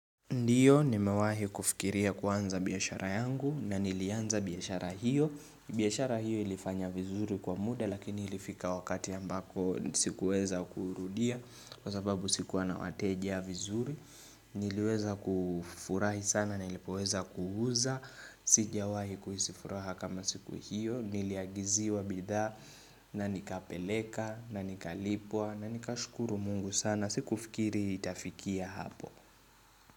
Ndiyo, nimewahi kufikiria kuanza biashara yangu na nilianza biashara hiyo. Biashara hiyo ilifanya vizuri kwa muda lakini ilifika wakati ambako sikuweza kuurudia kwa sababu sikuwa na wateja vizuri. Niliweza kufurahi sana na ilipoweza kuuza. Sijawahi kuhisi furaha kama siku hiyo. Niliagiziwa bidhaa na nikapeleka na nikalipwa na nikashukuru mungu sana. Sikufikiri itafikia hapo.